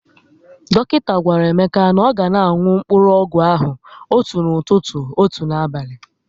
Dọkịta gwara Emeka na ọ ga na aṅụ mkpụrụọgwụ ahụ otu n'ụtụtụ, otu n'abali